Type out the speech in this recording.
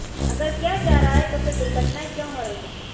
अगर किया जा रहा है तो फिर दुर्घटनाएं क्यो हो रही हैं